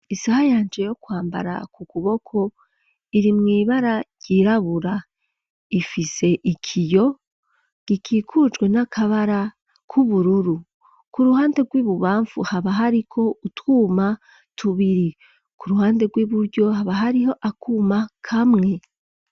Isaha yanje yo kwambara ku kuboko iri mw'ibara ryirabura, ifise ikiyo gikikujwe n'akabara k'ubururu ku ruhande rw'ibubamvu haba hari ko utwuma tubiri ku ruhande rw'iburyo haba hariho akuma kamwe.